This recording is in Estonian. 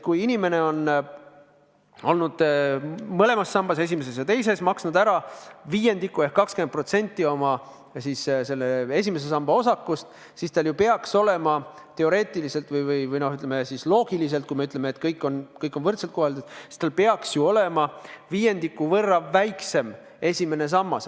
Kui inimene on olnud mõlemas sambas, esimeses ja teises, maksnud ära viiendiku ehk 20% oma esimese samba osakust, siis tal ju peaks olema – teoreetiliselt või siis loogiliselt, kui me ütleme, et kõik on võrdselt koheldud – viiendiku võrra väiksem esimene sammas.